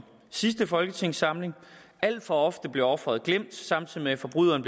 sidste folketingssamling alt for ofte bliver offeret glemt samtidig med at forbryderen